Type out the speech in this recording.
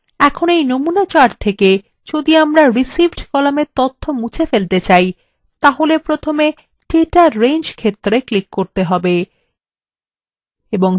এখন এই নমুনা chartwe যদি আমরা received কলামের তথ্য মুছে ফেলতে chart তাহলে প্রথমে data range ক্ষেত্রwe ক্লিক করতে হবে